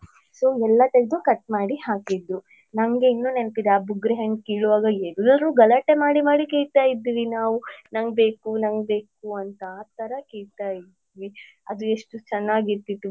So ಎಲ್ಲ ತೆಗ್ದು cut ಮಾಡಿ ಹಾಕಿದ್ರು. ನಮಗೆ ಇನ್ನು ನೆನ್ಪಿದೆ ಅ ಬುಗ್ರಿ ಹಣ್ಣ್ ಕೀಳುವಾಗ ಎಲ್ರು ಗಲಾಟೆ ಮಾಡಿ ಮಾಡಿ ಕಿಲ್ತಾ ಇದ್ವಿ ನಾವ್ ನಂಗ್ ಬೇಕು ನಂಗ್ ಬೇಕು ಅಂತ ಆತರ ಕೀಳ್ತಾ ಇದ್ವಿ ಅದು ಎಷ್ಟು ಚೆನ್ನಾಗಿರ್ತಿತ್ತು.